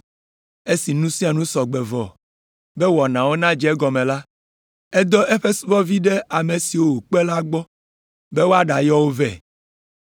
Esi nu sia nu sɔ gbe vɔ be wɔnawo nadze egɔme la, edɔ eƒe subɔvi ɖe ame siwo wòkpe la gbɔ be wòaɖayɔ wo vɛ.